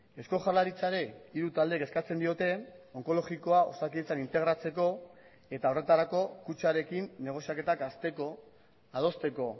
eusko jaurlaritzari hiru taldeek eskatzen diote onkologikoa osakidetzan integratzeko eta horretarako kutxarekin negoziaketak hasteko adosteko